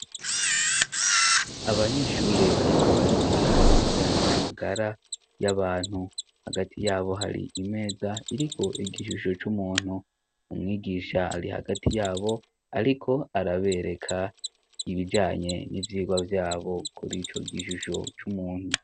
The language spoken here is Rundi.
Abanyeshure bariko bariga ibijanye n'amagara y'abantu hagati yabo hari imeza iriko igishusho c'umuntu mumwigisha ari hagati yabo, ariko arabereka ibijanye n'ivyirwa vyabo kuri ico gishusho c'umuntu.